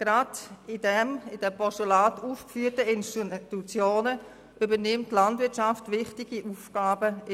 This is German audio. Gerade bei den im Postulat aufgeführten Institutionen übernimmt die Landwirtschaft in diesem Bereich wichtige Aufgaben.